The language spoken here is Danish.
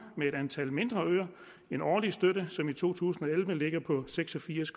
med et antal mindre øer en årlig støtte som i to tusind og elleve ligger på seks og firs